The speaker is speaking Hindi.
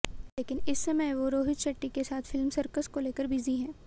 लेकिन इस समय वो रोहित शेट्टी के साथ फिल्म सर्कस को लेकर बिजी हैं